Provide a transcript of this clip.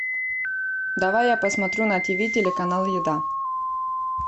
давай я посмотрю на тв телеканал еда